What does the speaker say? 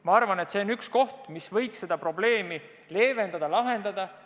Ma arvan, et see võiks seda probleemi leevendada, lahendada.